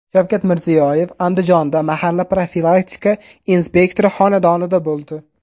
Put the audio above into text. Shavkat Mirziyoyev Andijonda mahalla profilaktika inspektori xonadonida bo‘ldi.